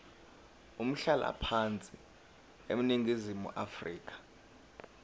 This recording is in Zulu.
umhlalaphansi eningizimu afrika